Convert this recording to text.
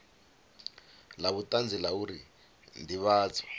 la vhutanzi la uri ndivhadzo